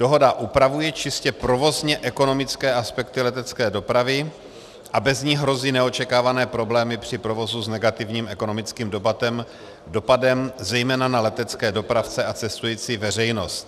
Dohoda upravuje čistě provozně ekonomické aspekty letecké dopravy a bez ní hrozí neočekávané problémy při provozu s negativním ekonomickým dopadem zejména na letecké dopravce a cestující veřejnost.